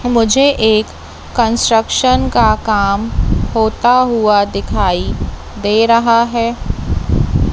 मुझे एक कंस्ट्रक्शन का काम होता हुआ दिखाई दे रहा है।